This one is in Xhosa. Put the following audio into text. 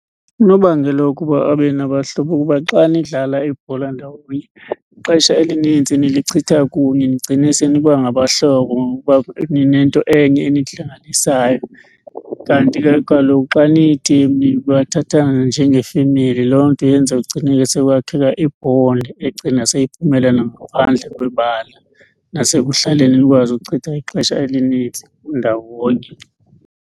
Unobangela wokuba abe nabahlobo kukuba xa nidlala ibhola ndawonye ixesha elinintsi nilichitha kunye nigcine seniba ngabahlobo ngokuba ninento enye enihlanganisayo kanti ke kaloku xa niyi-team nibathatha njengefemeli. Loo nto yenza kugcineke sekwakheka i-bond egcina seyiphumela nangaphandle kwebala, nasekuhlaleni nikwazi ukuchitha ixesha elininzi ndawonye.